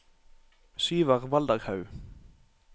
Syver Valderhaug